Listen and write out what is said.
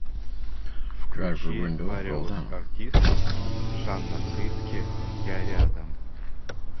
включи вариос артистс жанна фриске я рядом